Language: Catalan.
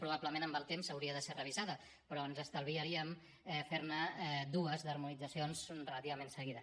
probablement amb el temps hauria de ser revisada però ens estalviaríem fer ne dues d’harmonitzacions relativament seguides